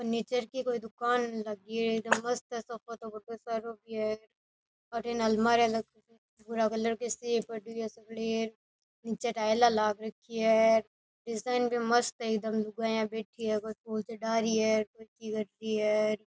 Furniture की कोई दुकान लगी है मस्त है सोफा तो बढ़ो सारो भी है अठीने अलमारिया लगी है भूरा कलर निचे टाइला लाग रखी है डिजाइन भी मस्त है एकदम लुगाईया बैठी है कोई की कर रही है।